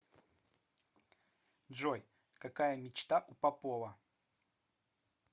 джой какая мечта у попова